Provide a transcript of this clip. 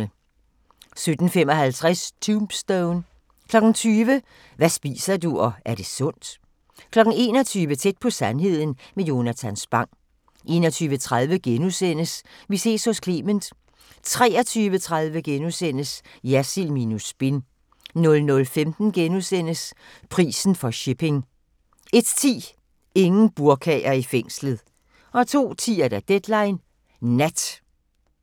17:55: Tombstone 20:00: Hvad spiser du – og er det sundt? 21:00: Tæt på sandheden med Jonatan Spang 21:30: Vi ses hos Clement * 23:30: Jersild minus spin * 00:15: Prisen for shipping * 01:10: Ingen burkaer i fængslet 02:10: Deadline Nat